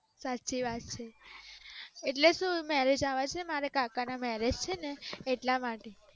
સાચી વાત છે એટલે શુ મેરેજ આવે છે મારા કાકા ના મેરેજ છે ને એટલા માટે